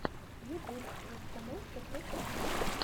ютюб расстановка тх